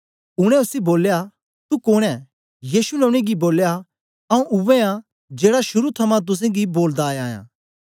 उनै उसी बोलया तू कोंन ऐं यीशु ने उनेंगी बोलया आऊँ उवै आं जेड़ा शुरू थमां तुसेंगी बोलदा आया आं